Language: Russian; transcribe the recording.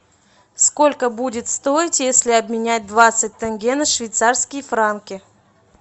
сколько будет стоить если обменять двадцать тенге на швейцарские франки